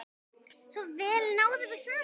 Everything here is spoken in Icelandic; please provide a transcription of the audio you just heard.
Svo vel náðum við saman.